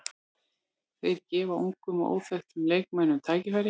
Þeir gefa ungum og óþekktum leikmönnum tækifæri.